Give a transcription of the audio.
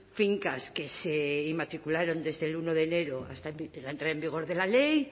fincas que se inmatricularon desde el uno de enero hasta la entrada en vigor de la ley